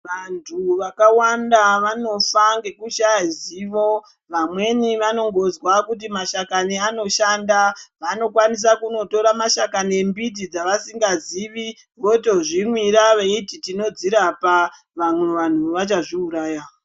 Vantu vakawanda vanofa ngekushaya zivo, vamweni vanongozva kuti mashakani anoshanda, vanokwanisa kunotora mashakani embiti dzavasingazivi, votozvimwira veyiti tinodzirapa. Vamwe vanhu vachazviwuraya.